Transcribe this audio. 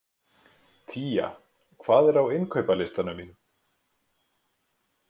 Tía, hvað er á innkaupalistanum mínum?